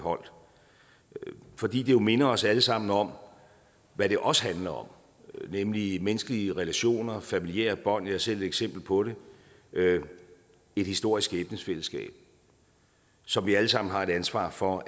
holdt fordi det jo minder os alle sammen om hvad det også handler om nemlig menneskelige relationer og familiære bånd jeg er selv et eksempel på det et historisk skæbnefællesskab som vi alle sammen har et ansvar for